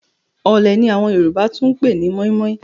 Ọ̀ọ̀lẹ̀ ni àwọn Yorùbá tún lè pè ní mọ́ímọ́í.